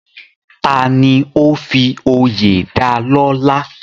Tani ó fi oyè dalọ́lá?